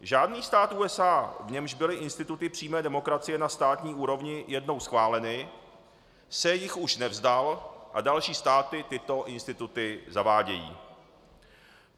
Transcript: Žádný stát USA, v němž byly instituty přímé demokracie na státní úrovni jednou schváleny, se jich už nevzdal a další státy tyto instituty zavádějí.